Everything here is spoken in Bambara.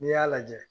N'i y'a lajɛ